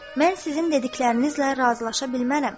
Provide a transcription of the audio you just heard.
Mən sizin dediklərinizlə razılaşa bilmərəm.